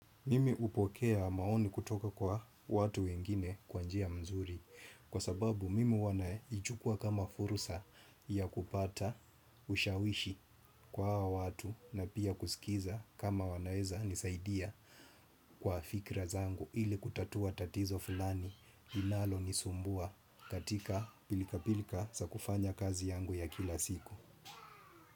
Mimi upokea maoni kutoka kwa watu wengine kwa njia mzuri kwa sababu mimi huwa naichukua kama furusa ya kupata ushawishi kwa watu na pia kusikiza kama wanaeza nisaidia kwa fikra zangu ili kutatua tatizo fulani inalo nisumbua katika pilika pilika zakufanya kazi yangu ya kila siku.